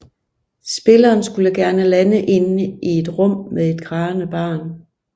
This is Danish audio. Spilleren skulle gerne lande inde i et rum med et grædende barn